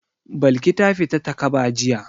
Balki ta fita takaba jiya.